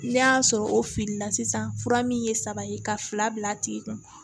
N'a y'a sɔrɔ o filila sisan fura min ye saba ye ka fila bila a tigi kun